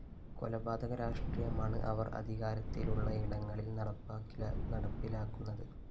കൊലപാതക രാഷ്ട്രീയമാണ് അവര്‍ അധികാരത്തിലുള്ളയിടങ്ങളില്‍ നടപ്പിലാക്കുന്നത്